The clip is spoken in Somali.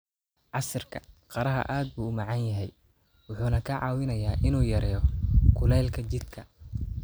Casiirka qaraha aad buu u macaan yahay wuxuuna kaa caawinayaa inuu yareeyo kulaylka jidhka.